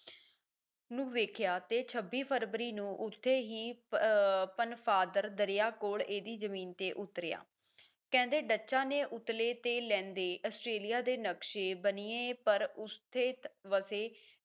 ਨੂੰ ਵੇਖਿਆ ਤੇ ਛੱਬੀ ਫਰਵਰੀ ਨੂੰ ਉਸਦੇ ਹੀ ਅਹ ਪਨ ਫਾਦਰ ਦਰਿਆ ਕੋਲ ਇਹਦੀ ਜ਼ਮੀਨ ਤੇ ਉਤਰਿਆ, ਕਹਿੰਦੇ ਡੱਚਾਂ ਨੇ ਉਤਲੇ ਤੇ ਲਹਿੰਦੇ ਆਸਟ੍ਰੇਲੀਆ ਦੇ ਨਕਸ਼ੇ ਬਣੀਏ ਪਰ ਉਸਥਿਤ ਵਸੇ